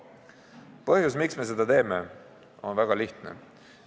Põhjus, miks me seda teeme, on väga lihtne.